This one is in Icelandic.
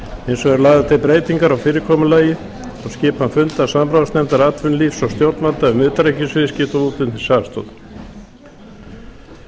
hins vegar eru lagðar til breytingar á fyrirkomulagi og skipan funda samráðsnefndar atvinnulífs og stjórnvalda um utanríkisviðskipti og útflutningsaðstoð í